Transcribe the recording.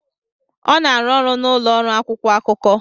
Ọ na-arụ ọrụ na ụlọ ọrụ akwụkwọ akụkọ.